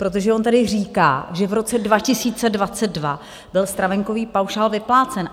Protože on tady říká, že v roce 2022 byl stravenkový paušál vyplácen.